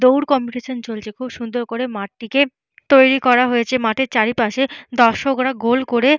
দৌড় কম্পিটিশন চলছে। খুব সুন্দর করে মাঠটিকে তৈরি করা হয়েছে। মাঠে চারিপাশে দশকরা গোল করে--